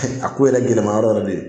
A ko yɛrɛ gɛlɛma yɔrɔ yɛrɛ bɛ yen